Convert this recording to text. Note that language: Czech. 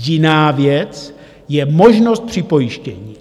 Jiná věc je možnost připojištění.